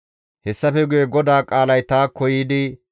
Hessafe guye GODAA qaalay taakko yiidi,